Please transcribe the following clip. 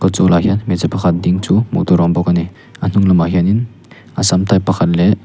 kawt zawl ah hian hmeichhe pakhat ding chu hmuh tur a awm bawk ani a hnung lamah hianin assam type pakhat leh--